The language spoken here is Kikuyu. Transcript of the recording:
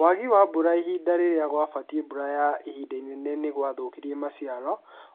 Wagi wa mbura ihinda rĩrĩa gwabatiĩ mbura ya ihinda inene nĩwathũkirie maciaro,